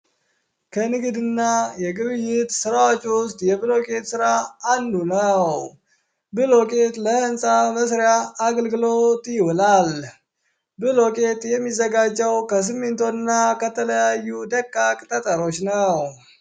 ከንግድ እና የግብይት ስራዎች ውስጥ የብሎኬት አንዱ ነው። ብሎኬት ለህንፃ መስሪያ አገልግሎት ይውላል። ብሎኬት የሚዘጋጀውም ከሲሚንቶ እና ከተለያዩ ጠጠር ነገሮች ነው።